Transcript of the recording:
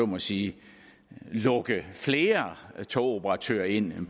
må sige at lukke flere togoperatører ind